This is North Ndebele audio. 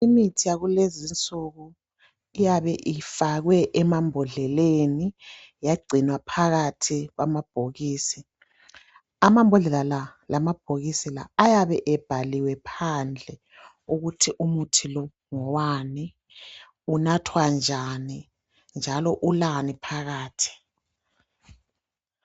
Imithi yakulezi nsuku iyabe ifakwe emambodleleni yagcinwa phakathi kwama bhokisi . Amambodlela la lamabhokisi la ayabe ebhaliwe phandle ukuthi umuthi lo ngowani ,unathwa njani njalo ulani phakathi.